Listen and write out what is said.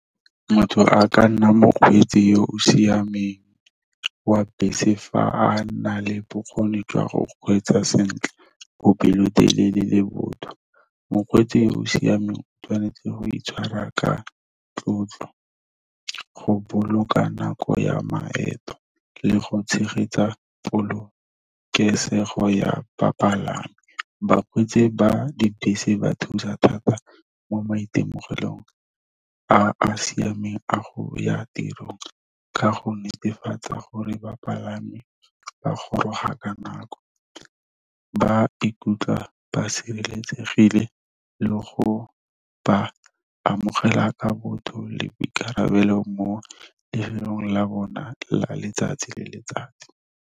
Motho a ka nna mokgweetsi yo o siameng wa bese fa a na le bokgoni jwa go kgweetsa sentle bo pelotelele le botho. Mokgweetsi o o siameng o tshwanetse go itshwara ka tlotlo go boloka nako ya maeto, le go tshegetsa polokesego ya bapalami. Bakgweetsi ba dibese ba thusa thata mo maitemogelong a a siameng a go ya tirong, ka go netefatsa gore bapalami ba goroga ka nako. Ba ikutlwa ba sireletsegile le go ba amogela ka botho le boikarabelo mo lefelong la bona la letsatsi le letsatsi.